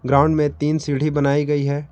Ground में तीन सीढी बनाई गई है।